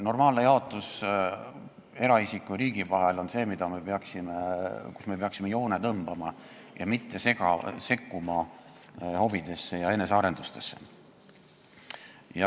Normaalne jaotus eraisiku ja riigi vahel on see, et me peaksime joone tõmbama ning mitte sekkuma hobidesse ja enesearendusse.